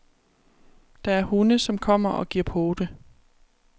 Der er hunde, som kommer og giver pote.